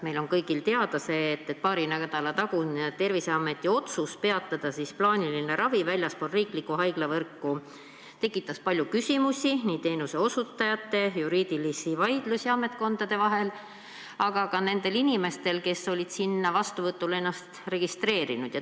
Meile kõigile on teada see, et paari nädala tagune Terviseameti otsus peatada plaaniline ravi väljaspool riiklikku haiglavõrku tekitas palju küsimusi teenuse osutajate seas, samuti juriidilisi vaidlusi ametkondade vahel, aga ka nendel inimestel, kes olid ennast juba vastuvõtule registreerinud.